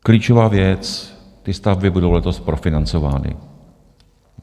Klíčová věc: ty stavby budou letos profinancovány.